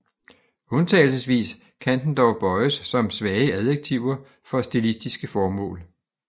Undtagelsesvis kan den dog bøjes som svage adjektiver for stilistiske formål